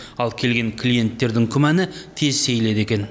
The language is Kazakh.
ал келген клиенттердің күмәні тез сейіледі екен